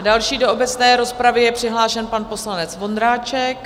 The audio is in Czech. A další do obecné rozpravy je přihlášen pan poslanec Vondráček.